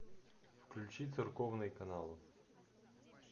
включи церковные каналы